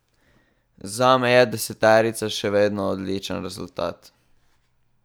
Zame je deseterica še vedno odličen rezultat.